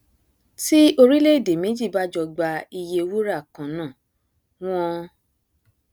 tí orílẹèdè méjì bá jọ gba iye wúrà kannáà wọn